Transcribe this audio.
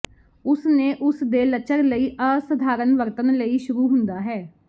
ਉਸ ਨੇ ਉਸ ਦੇ ਲੱਚਰ ਲਈ ਅਸਾਧਾਰਨ ਵਰਤਣ ਲਈ ਸ਼ੁਰੂ ਹੁੰਦਾ ਹੈ